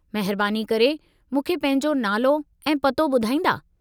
महिरबानी करे मूंखे पंहिंजो नालो ऐं पतो ॿुधाईंदा।